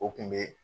O kun be